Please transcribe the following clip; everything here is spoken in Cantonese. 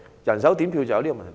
人手點票便有這問題。